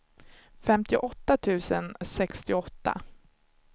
femtioåtta tusen sextioåtta